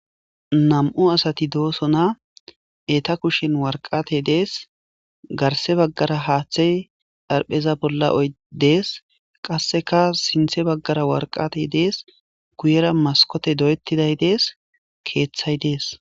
Nam'u asati doosona eta kushen warqate dees garse baggara haaththey dharpheza bolla oy dees qasseka sinthe baggara warqate dees guyera maskote doyettiday dees keeththay dees.